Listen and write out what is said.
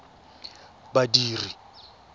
badiri